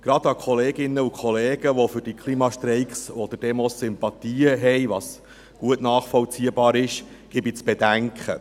Gerade denjenigen Kolleginnen und Kollegen, die Sympathien für diese Klimastreiks oder -demos haben, was gut nachvollziehbar ist, gebe ich zu bedenken: